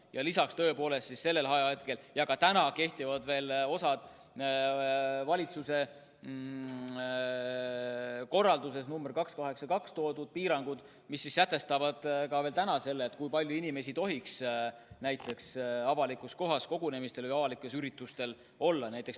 Ja lisaks tõepoolest kehtisid sellel ajahetkel ja kehtivad osaliselt ka täna valitsuse korralduses nr 282 toodud piirangud, mis sätestavad selle, kui palju inimesi tohib avalikus kohas kogunemistel, üldse avalikel üritustel olla.